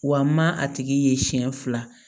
Wa ma a tigi ye siɲɛ fila